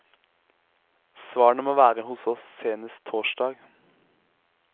Svarene må være hos oss senest torsdag.